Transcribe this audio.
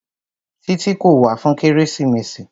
Títí kò wá fún kérésìmesì.